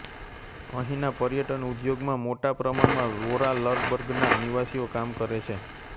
અહીંના પર્યટન ઉદ્યોગમાં મોટા પ્રમાણમાં વોરાર્લબર્ગના નિવાસીઓ કામ કરે છે